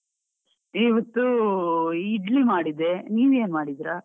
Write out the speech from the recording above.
ಇವತ್ತು ಇಡ್ಲಿ ಮಾಡಿದ್ದೆ, ನೀವ್ ಏನ್ ಮಾಡಿದ್ರಾ?